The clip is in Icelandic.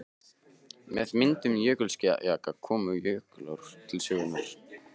Með myndun jökulskjalda komu og jökulár til sögunnar.